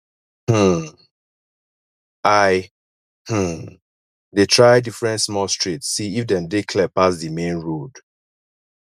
um i um dey try different small streets see if dem dey clear pass di main road